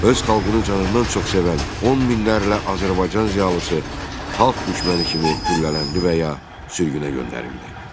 Öz xalqını canından çox sevən 10 minlərlə Azərbaycan ziyalısı xalq düşməni kimi güllələndi və ya sürgünə göndərildi.